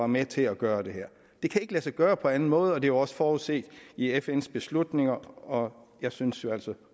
med til at gøre det her det kan ikke lade sig gøre på anden måde og det er jo også forudset i fns beslutninger og jeg synes altså